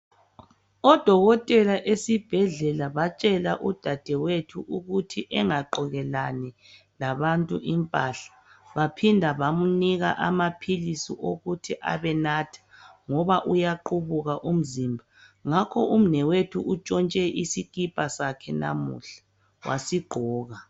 Odokotela esibhedlela batshela udadewethu ukuthi engagqokelani labantu impahla baphinde bamnika lamaphilizi ukuthi ebenatha ngoba uyaqubuka umzimba ngakho umnewethu utshontshe isikhipha sakhe namuhla wasigqoka